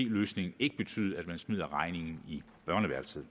løsning ikke betyde at man smider regningen i børneværelset